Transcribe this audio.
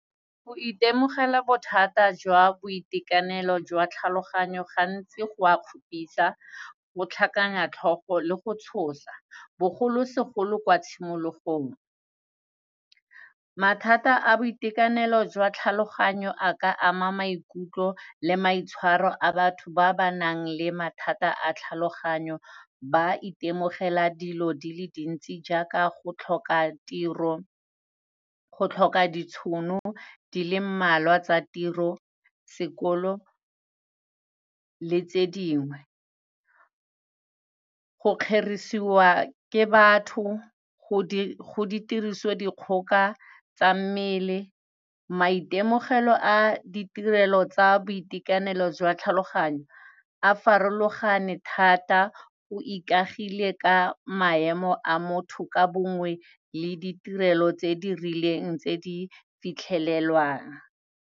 Go itemogela bothata jwa boitekanelo jwa tlhaloganyo, gantsi go a kgopisa, go tlhakanya tlhogo le go tshosa, bogolosegolo kwa tshimologong. Mathata a boitekanelo jwa tlhaloganyo a ka ama maikutlo le maitshwaro a batho ba ba nang le mathata a tlhaloganyo, ba itemogela dilo di le dintsi jaaka, go tlhoka tiro, go tlhoka ditšhono di le mmalwa tsa tiro, sekolo, le tse dingwe. Go kgerisiwa ke batho, go di, go di tirisodikgoka tsa mmele, maitemogelo a ditirelo tsa boitekanelo jwa tlhaloganyo, a farologane thata o ikagile ka maemo a motho ka bongwe, le ditirelo tse di rileng tse di fitlhelelwang.